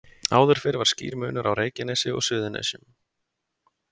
Áður fyrr var skýr munur á Reykjanesi og Suðurnesjum.